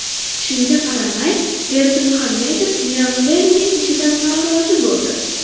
Shunga qaramay, Berdimuhamedov Niyozlevning ishidan norozi bo‘ldi.